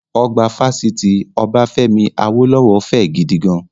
Ọgbà Fásitì Obafemi Awolowo fẹ́ gidigan